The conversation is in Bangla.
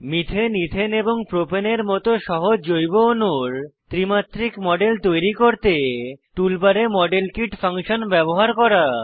মিথেন ইথেন এবং প্রোপেন এর মত সহজ জৈব অণুর ত্রিমাত্রিক মডেল তৈরি করতে টুলবারে মডেল কিট ফাংশন ব্যবহার করা